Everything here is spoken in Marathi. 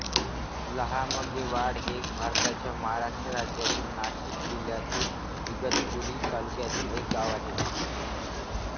लहामगेवाडी हे भारताच्या महाराष्ट्र राज्यातील नाशिक जिल्ह्यातील इगतपुरी तालुक्यातील एक गाव आहे